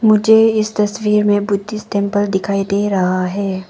मुझे इस तस्वीर में बुद्धिस्ट टेंपल दिखाई दे रहा है।